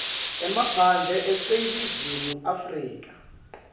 emaphandle aseningizimu afrika